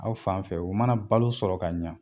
Aw fan fɛ u mana balo sɔrɔ ka ɲa